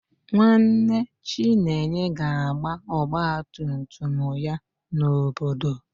Nwanne Chinenye ga-agba ọgba tum tum ya n'obodo